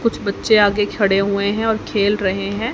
कुछ बच्चे आगे खड़े हुए हैं और खेल रहे हैं।